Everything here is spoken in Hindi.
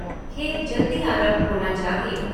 खेल जल्दी आरम्भ होना चाहिए।